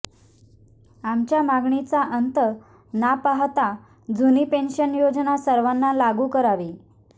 आमच्या मागणीचा अंत ना पाहता जुनी पेंशन योजना सर्वांना लागू करावी